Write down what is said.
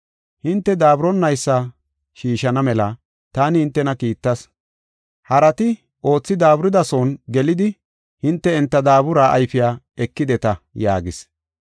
Hinte daaburiboonaysa shiishana mela taani hintena kiittas. Harati oothi daaburidasuwan gelidi hinte enta daabura ayfiya ekideta” yaagis.